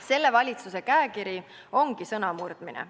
Selle valitsuse käekiri ongi sõnamurdmine.